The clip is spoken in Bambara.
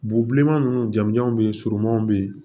Bobilenman ninnu jamanjanw bɛ yen surumanw bɛ yen